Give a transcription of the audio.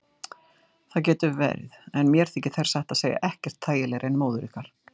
Það getur verið en mér þykir þær satt að segja ekkert þægilegri en móður ykkar.